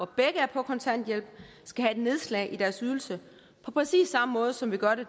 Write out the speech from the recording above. begge er på kontanthjælp skal have et nedslag i deres ydelse på præcis samme måde som vi gør det